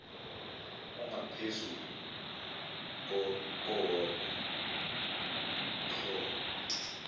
ongaphezulu kowodwa wohlobo